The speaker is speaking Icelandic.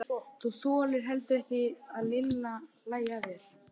Þú þolir heldur ekki að Lilli hlæi að þér.